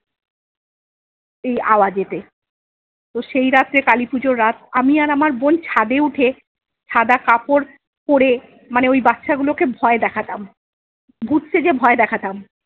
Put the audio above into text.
এই আওয়াজেতে। তো সেইরাত্রে কালীপুজোর রাত আমি আর আমার বোন ছাদে উঠে সাদা কাপড় পরে মানে ওই বাচ্চা গুলোকে ভয় দেখাতাম, ভুত সেজে ভয় দেখাতাম।